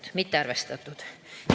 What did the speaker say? See on mittearvestatud.